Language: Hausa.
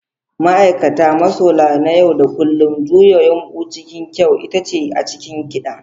Ma'aikata, masola na yau da kullun, juya yumɓu cikin kyau, itace a cikin kiɗa.